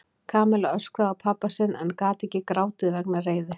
Kamilla öskraði á pabba sinn en gat ekki grátið vegna reiði.